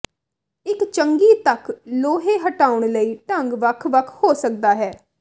ਇੱਕ ਚੰਗੀ ਤੱਕ ਲੋਹੇ ਹਟਾਉਣ ਲਈ ਢੰਗ ਵੱਖ ਵੱਖ ਹੋ ਸਕਦਾ ਹੈ